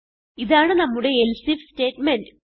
ഇതാണ് നമ്മുടെ else if statement